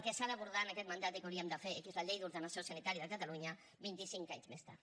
que s’ha d’abordar en aquests mandat i que hauríem de fer que és la llei d’ordenació sanitària de catalunya vint i cinc anys més tard